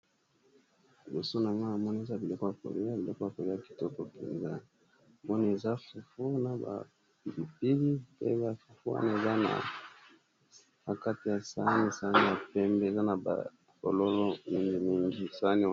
Liboso na ngai namoni eza biloko ya kolia biloko yakolia kitoko penza, wana namoni eza fufu na bapilipili pe, ba kwamga eza na bakati ya sani-sani ya pembe eza na bafololo mingi mingi sanani .